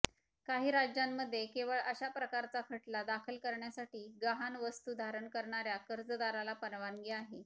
काही राज्यांमध्ये केवळ अशा प्रकारचा खटला दाखल करण्यासाठी गहाण वस्तू धारण करणाऱ्या कर्जदाराला परवानगी आहे